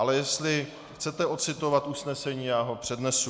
Ale jestli chcete ocitovat usnesení, já ho přednesu.